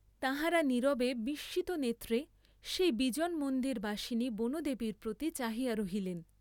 তাঁহারা নীরবে বিস্মিতনেত্রে সেই বিজন মন্দিরবাসিনী বনদেবীর প্রতি চাহিয়া রহিলেন।